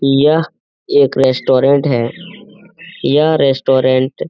यह एक रेस्टोरेंट है। यह रेस्टोरेंट --